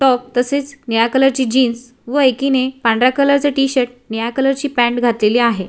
Top तसेच निळ्या कलरची जिन्स व एकीने पांढऱ्या कलरच टी-शर्ट निळ्या कलरची पँट घातलेली आहे.